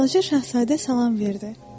Balaca Şahzadə salam verdi.